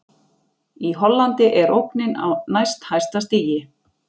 Í Hollandi er ógnin á næst hæsta stigi.